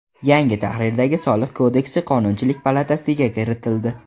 Yangi tahrirdagi Soliq kodeksi Qonunchilik palatasiga kiritildi.